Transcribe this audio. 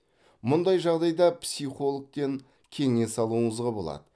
мұндай жағдайда психологтен кеңес алуыңызға болады